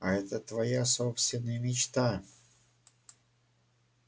а это твоя собственная метла